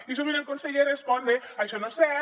i sovint el conseller respon això no és cert